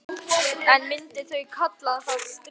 En myndu þau kalla það stríð?